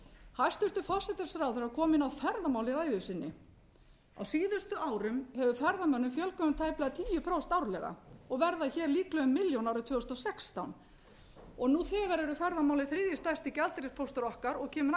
hæstvirtur forsætisráðherra kom inn á ferðamál í ræðu sinni á síðustu árum hefur ferðamönnum fjölgað um tæplega tíu prósent árlega og verða líklega um milljón árið tvö þúsund og sextán nú þegar eru ferðamálin þriðji stærsti gjaldeyrispóstur okkar og kemur